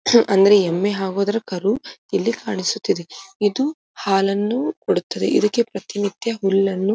ಅಂದ್ರೆ ಎಮ್ಮೆ ಹಾಗು ಅದ್ರ ಕರು ಇಲ್ಲಿ ಕಾಣಿಸುತ್ತಿದೆ ಇದು ಹಾಲನ್ನು ಕೊಡುತ್ತದೆ ಇದಕ್ಕೆ ಪ್ರತಿನಿತ್ಯ ಹುಲ್ಲನ್ನ --